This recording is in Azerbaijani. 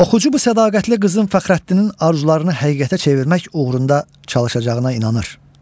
Oxucu bu sədaqətli qızın Fəxrəddinin arzularını həqiqətə çevirmək uğrunda çalışacağına inanır.